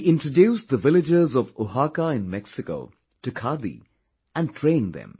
He introduced the villagers of Oaxaca in Mexico to khadi and trained them